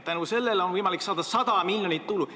Tänu sellele oleks võimalik saada 100 miljonit tulu.